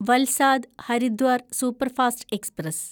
Valsad Haridwar superfast express